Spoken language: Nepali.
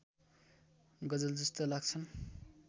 गजलजस्ता लाग्छन्